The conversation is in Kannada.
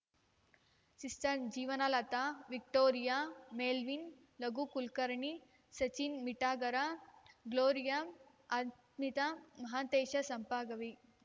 sister Jeevanlata Victoria Melvin Raghu Kulkarni Sachin Mitagar Gloria Ashmita Mahantesh Sampagavi